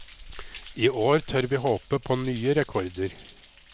I år tør vi håpe på nye rekorder.